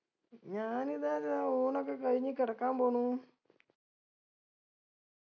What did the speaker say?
ഞാനിതാ ദാ ഊണൊക്കെ കഴിഞ്ഞ് കെടക്കാൻ പോന്നു